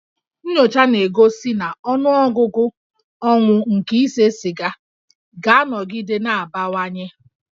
Nnyocha na-egosi na ọnụọgụgụ ọnwụ nke ise siga ga-anọgide na-abawanye